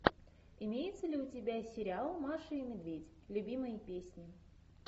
имеется ли у тебя сериал маша и медведь любимые песни